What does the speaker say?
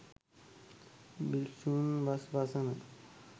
භික්‍ෂූන් වස් වසන